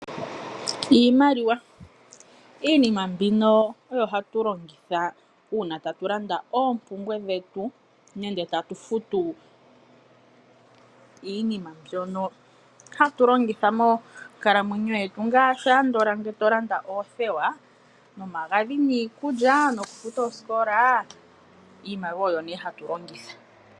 Iimaliwa Iinima mbino oyo hatu longitha uuna tatu landa oompumbwe dhetu nenge tatu futu iinima mbyono hatu longitha moonkalamwenyo yetu ngaashi ngele to landa oothewa, omagadhi, iikulya nokufuta oosikola. Iimaliwa oyo nduno hatu longitha.